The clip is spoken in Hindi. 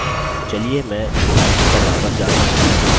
चलिए मैं slides पर वापस जाता हूँ